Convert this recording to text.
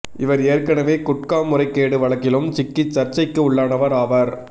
இவர் ஏற்கனவே குட்கா முறைகேடு வழக்கிலும் சிக்கி சர்ச்சைக்கு உள்ளானவர் ஆவார்